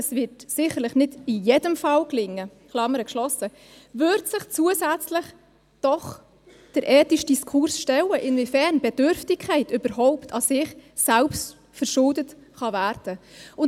es wird sicherlich nicht in jedem Fall gelingen –, würde sich zusätzlich doch der ethische Diskurs stellen, inwiefern Bedürftigkeit überhaupt an sich selbstverschuldet werden kann.